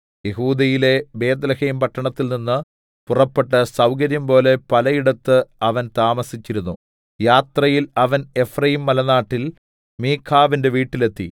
യെഹൂദയിലെ ബേത്ത്ലേഹെംപട്ടണത്തിൽ നിന്ന് പുറപ്പെട്ട് സൗകര്യം പോലെ പലയിടത്ത് അവൻ താമസിച്ചിരുന്നു യാത്രയിൽ അവൻ എഫ്രയീംമലനാട്ടിൽ മീഖാവിന്റെ വീട്ടിൽ എത്തി